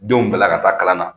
Denw bila ka taa kalan na.